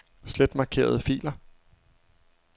Slet markerede filer.